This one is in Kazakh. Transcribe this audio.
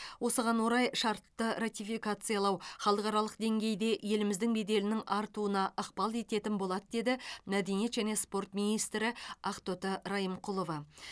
осыған орай шартты ратификациялау халықаралық деңгейде еліміздің беделінің артуына ықпал ететін болады деді мәдениет және спорт министрі ақтоты райымқұлова